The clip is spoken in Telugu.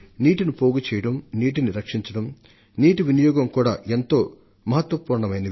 అందుకని నీటిని నిల్వ చేయడం నీటిని పొదుపుగా వాడుకోవడం సేద్యపు నీటిని సద్వినియోగించడం ఇవన్నీ కూడా సమ ప్రాధాన్యం ఇవ్వదగ్గవే